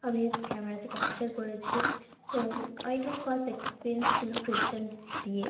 আমি ক্যামেরা -তে ক্যাপচার করেছি। তো ওইটা আমার ফার্স্ট এক্সপেরিয়েন্স ছিল খ্রিস্টান বিয়ে।